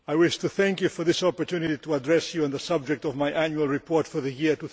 I wish to thank you for this opportunity to address you on the subject of my annual report for the year